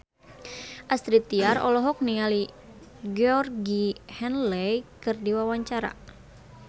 Astrid Tiar olohok ningali Georgie Henley keur diwawancara